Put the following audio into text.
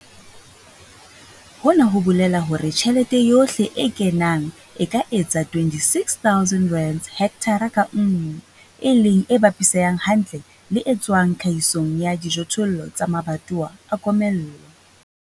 Hona ho bolela hore tjhelete yohle e kenang e ka etsa R26 000 hekthara ka nngwe, e leng e bapisehang hantle le e tswang tlhahisong ya dijothollo tsa mabatowa a komello.